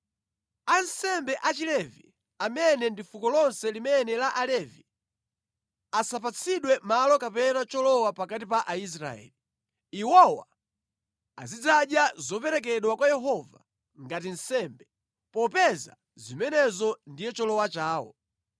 Ansembe Achilevi amene ndi fuko lonse la Alevi, asapatsidwe malo kapena cholowa pakati pa Aisraeli. Iwowa azidzadya zoperekedwa kwa Yehova ngati nsembe, popeza zimenezo ndiye cholowa chawo.